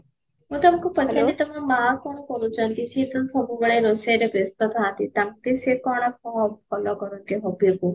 ମୁଁ ତମକୁ ପଚାରୁଚି ତମ ମା କଣ କରୁଚନ୍ତି ସିଏ ତ ସବୁବେଳେ ରୋଷେଇରେ ବ୍ୟସ୍ତ ଥାନ୍ତି ସେ କଣ follow କରନ୍ତି hobbyକୁ